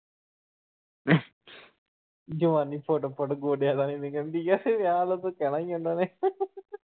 ਜਵਾਨੀ ਫੁੱਟ-ਫੁੱਟ ਗੋਡਿਆਂ ਤਾਣੀ ਨਿਕਲਣ ਦੀ ਆ ਵਿਆਹ ਵੱਲੋਂ ਤਾਂ ਕਹਿਣਾ ਈ ਆ ਉਹਨਾਂ ਨੇ ।